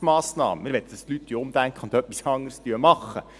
Wir möchten, dass die Leute umdenken und etwas anderes machen.